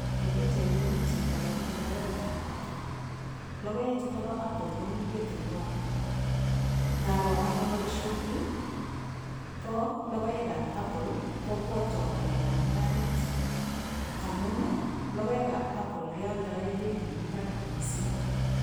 Eng' pichaini komi chito neputei lokoekab apple lokoechuto bo apple komi ketingwai ngaro ane boishoni bo lokoekab apple kopwotwo ng'alekab mung'aret amun lokoekab apple kealdoe beit nemi barak mising'